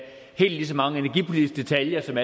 helt så mange energipolitiske detaljer som